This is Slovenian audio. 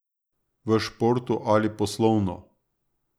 V športu ali poslovno.